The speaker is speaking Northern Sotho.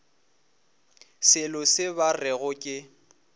selo se ba rego ke